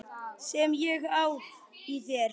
Sem ég á í þér.